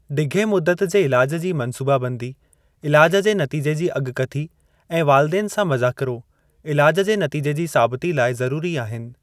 ढिघे मुद्दत जे इलाज जी मंसूबाबंदी, इलाज जे नतीजे जी अॻकथी ऐं वालिदेन सां मज़ाकिरो, इलाजु जे नतीजे जी साबिती लाइ ज़रुरी आहिनि।